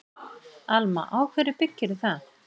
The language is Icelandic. Alma: Á hverju byggirðu það?